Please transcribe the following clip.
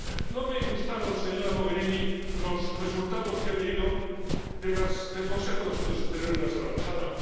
No me gustaron, señora Mogherini, los resultados que ha leído del Consejo de Asuntos Exteriores de la semana pasada.